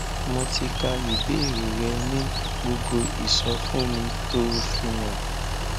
mo ti ka ìbéèrè rẹ ní gbogbo ìsọfúnni tó o fi hàn